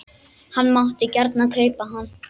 Hann mátti gjarnan kaupa hann.